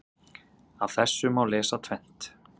Af þessu má lesa tvennt.